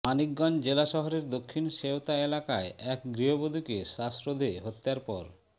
মানিকগঞ্জ জেলা শহরের দক্ষিণ সেওতা এলাকায় এক গৃহবধূকে শ্বাসরোধে হত্যার পর